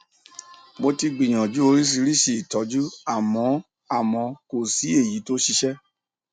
mo ti gbìyànjú oríṣiríṣi ìtọjú àmọ àmọ kò sí èyí tó ṣiṣẹ